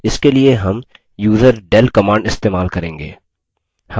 इसके लिए हम userdel command इस्तेमाल करेंगे